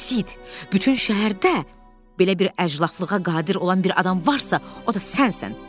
Sid, bütün şəhərdə belə bir əclafılığa qadir olan bir adam varsa, o da sənsən.